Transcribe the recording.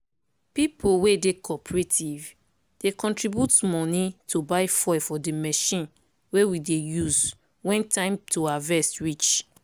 people wey dey cooperative dey contribute money to buy fuel for di machine wey we dey use when time to harvest reach.